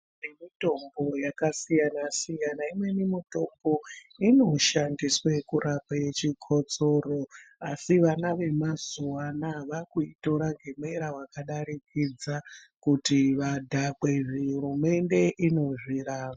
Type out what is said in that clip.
Kune mitombo yakasiyana-siyana ,kuti kana imweni mitombo inoshandiswe kurape chokotsoro. Asi vana vemazuwa anaya vaakuitora ngemweya wakadarikidza, kuti vadhakwe. Hurumende inozviramba.